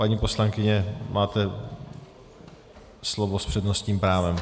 Paní poslankyně, máte slovo s přednostním právem.